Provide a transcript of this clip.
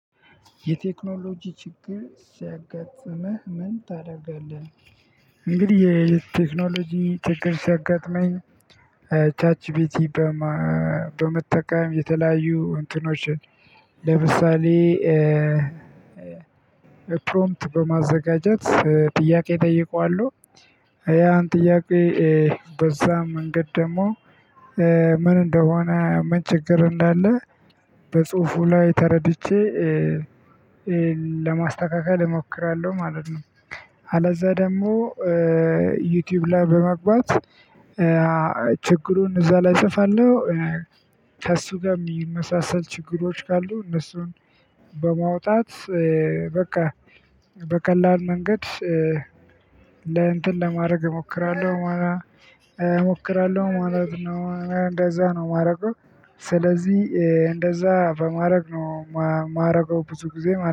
የቴክኖሎጂ ችግር ሲያጋጥመህ ምን ታደርጋለህ? እንግዲህ የቴክኖሎጂ ችግር ሲያጋጥመኝ ቻት ጂቢቲ በመጠቀም የተለያዩ እንትኖችን ለምሳሌ ፕሮፕምት በማዘጋጀት ጥያቄ እጠይቀዋለሁ ያን ጥያቄ በዛ መንገድ ደግሞ ምን እንደሆነ ምን ችግር እንዳለ በጽሁፉ ላይ ተረድቼ ለማስተካከል እሞክራለሁ ማለት ነው። አለዛ ደግሞ ዩቲዩብ ላይ በመግባት ችግሩን እዛ ላይ እጽፋለሁ ከእሱ ጋር የሚመሳሰል ችግሮች ካሉ እነሱን በማውጣት በቃ በቀላል መንገድ ለእንትን ለማድረግ እሞክራለሁ። ሞክራለሁ ማለት ነው እንደዛ ነው የማረገው። ስለዚህ እንደዛ በማረግ ነው የማረገው ብዙ ጊዜ